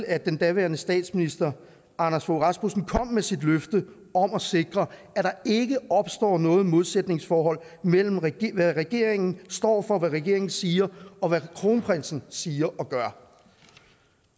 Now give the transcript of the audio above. at den daværende statsminister anders fogh rasmussen kom med sit løfte om at sikre at der ikke opstår noget modsætningsforhold mellem hvad regeringen står for hvad regeringen siger og hvad kronprinsen siger og gør